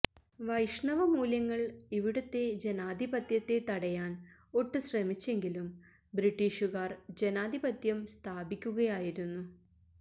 വൈഷ്ണവ മൂല്യങ്ങള് ഇവിടുത്തെ ജനാധിപത്യത്തെ തടയാന് ഒട്ട് ശ്രമിച്ചെങ്കിലും ബ്രിട്ടീഷുകാര് ജനാധിപത്യം സ്ഥാപിക്കുകയായിരുന്നു